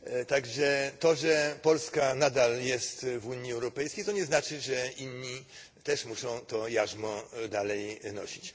A więc to, że Polska nadal jest w Unii Europejskiej, nie znaczy, że inni też muszą to jarzmo dalej znosić.